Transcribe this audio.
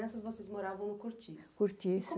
Crianças, vocês moravam no cortiço? Cortiço. Como